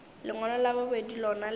lengwalo la bobedi lona le